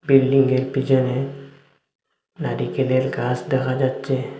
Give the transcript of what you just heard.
বিল্ডিংয়ের পিছনে নারিকেলের গাছ দেখা যাচ্ছে।